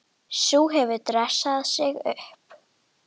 Sú hefur dressað sig upp!